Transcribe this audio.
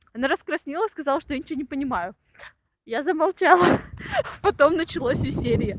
она раскраснелась сказала что я ничего не понимаю я замолчала ха ха потом началось веселье